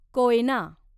Koyna